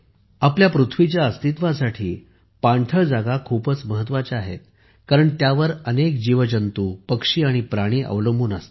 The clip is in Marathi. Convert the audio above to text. आपल्या पृथ्वीच्या अस्तित्वासाठी पाणथळ जागा खूप महत्त्वाच्या आहेत कारण त्यावर अनेक जीवजंतू पक्षी आणि प्राणी अवलंबून असतात